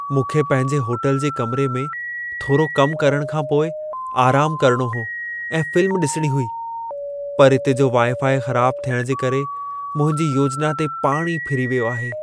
मूंखे पंहिंजे होटल जे कमिरे में थोरो कम करण खां पोइ आराम करणो हो ऐं फिल्म ॾिसिणी हुई। पर इते जो वाई-फाई ख़राब थियण जे करे मुंहिंजी योजिना ते पाणी फिरी वियो आहे।